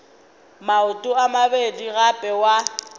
maoto a mabedi gape wa